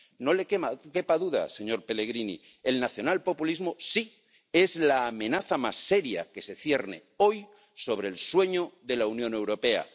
No le quepa duda, señor Pellegrini, el nacionalpopulismo sí es la amenaza más seria que se cierne hoy sobre el sueño de la Unión Europea.